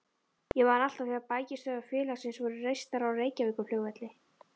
Ég man alltaf þegar bækistöðvar félagsins voru reistar á Reykjavíkurflugvelli.